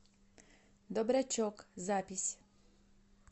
добрячок запись